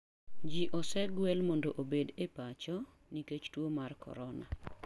Ji osegwel mondo obed e pacho nikech tuo mar corona.